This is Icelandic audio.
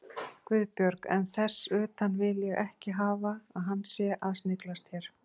GUÐBJÖRG: En þess utan vil ég ekki hafa að hann sé að sniglast hér.